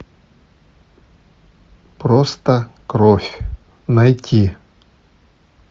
просто кровь найти